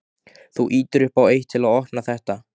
Þú ýtir upp á eitt. til að opna þetta.